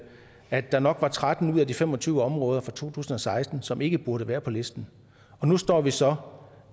at der nok var tretten ud af de fem og tyve områder fra to tusind og seksten som ikke burde være på listen nu står vi så